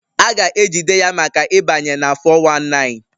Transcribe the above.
A ga-ejide ya maka ịbanye na 419